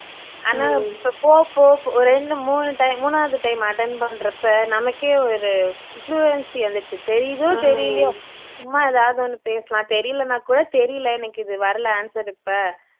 ஆனா இப்போ போக போக ஒரு ரெண்டு மூணு டை மூனாவது time attend பண்றப்போ நமக்கே ஒரு fluency வந்துருச்சு தெரியுதோ தெரியலயோ சும்மா எதாவது ஒண்ணு பேசலாம் தெரியலன்னா கூட தெரியல எனக்கு இது வரல answer இப்போ